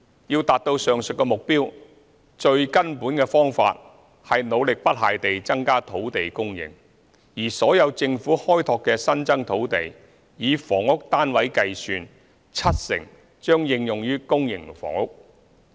要達至上述目標，最根本的方法是努力不懈地增加土地供應，而所有政府開拓的新增土地，以房屋單位計算，七成將應用於公營房屋。